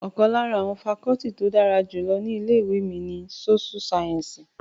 Ọ̀kan lára àwọn fakọọti tí ó dára jù lọ ní ilé ìwé mi ní sóṣú sáyẹ́ǹsì